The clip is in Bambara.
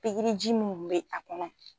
Pigiri ji min kun be a kɔnɔ